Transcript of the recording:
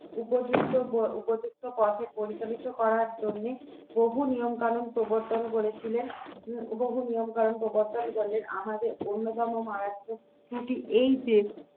উপযুক্ত উপযুক্ত পথে পরিচালিত করার জন্য বহু নিয়ম কানুন প্রবর্তন করেছিলেন বহু নিয়ম কানুন প্রবর্তন করেন আমাদের অন্যতম মারাত্মক ত্রুটি এই যে